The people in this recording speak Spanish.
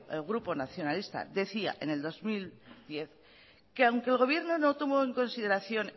el grupo nacionalista decía en el dos mil diez que aunque el gobierno no tuvo en consideración